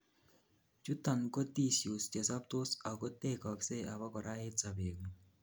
chuton ko tissues chesobtos agotekogsei abakora en sobet ngung